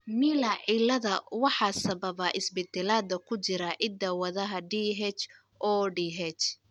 Miller ciilada waxaa sababa isbeddellada ku jira hidda-wadaha DHODH.